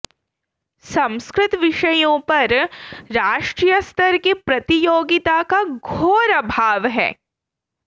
संस्कृत विषयों पर राष्ट्रीय स्तर की प्रतियोगिता का घोर अभाव है